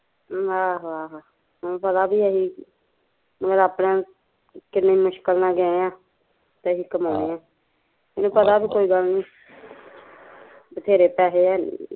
ਆਹੋ ਆਹੋ ਉਹਨੂੰ ਪਤਾ ਵੀ ਅਸੀਂ ਆਪਣਿਆ ਨੂੰ ਕਿੰਨੀ ਮੁਸਕਿਲ ਨਾਲ਼ ਗਏ ਆ ਤੇ ਅਸੀਂ ਕਮਾਉਣੇ ਆ ਹਮ ਤੇ ਇਹਨੂੰ ਪਤਾ ਵਧੇਰੇ ਪੈਸੇ ਆ